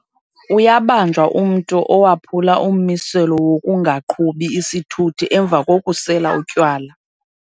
Uyabanjwa umntu owaphula ummiselo wokungaqhubi isithuthi emva kokusela utywala.